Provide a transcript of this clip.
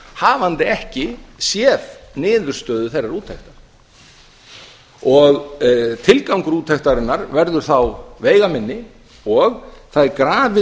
hafandi ekki séð niðurstöðu þeirrar úttektar tilgangur úttektarinnar verður þá veigaminni og það er grafið